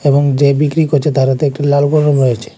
এবং যে বিক্রি করছে তার হাতে একটি লাল কলম রয়েছে।